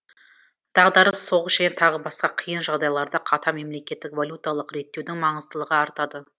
дағдарыс соғыс және тағы басқа қиын жағдайларда қатаң мемлекетгік валюталық реттеудің маңыздылығы артады